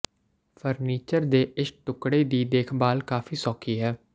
furniture ਦੇ ਇਸ ਟੁਕੜੇ ਦੀ ਦੇਖਭਾਲ ਕਾਫ਼ੀ ਸੌਖੀ ਹੈ